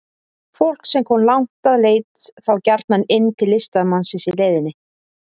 Fólk sem kom langt að leit þá gjarnan inn til listamannsins í leiðinni.